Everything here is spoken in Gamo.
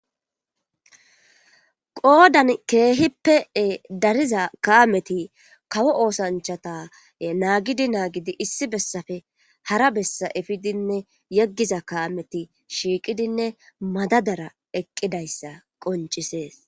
qoodan keehippee dariza kaameti kawo oosanchata naagidi naagidi issi bessafe hara bessa efidinne yeggiza kaameti shiiqidinne madadara eqqidayssa qoncisees